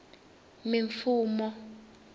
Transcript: mimfumo